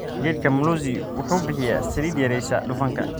Geedka mlozi wuxuu bixiya saliid yareysa dufanka.